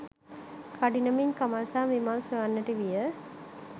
කඩිනමින් කමල් සහ විමල් සොයන්නට විය